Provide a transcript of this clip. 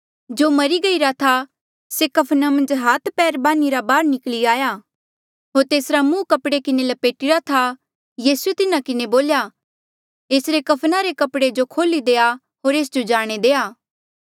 जो मरी गईरा था से कफना मन्झ हाथ पैर बान्हिरा बाहर निकली आया होर तेसरा मुंह कपड़े किन्हें लपेटिरा था यीसूए तिन्हा किन्हें बोल्या एसरे कफना रे कपड़े जो खोल्ही देआ होर एस जो जाणे देआ